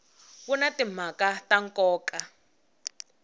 wu na timhaka ta nkoka